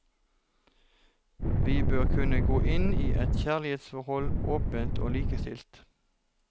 Vi bør kunne gå inn i et kjærlighetsforhold åpent og likestilt.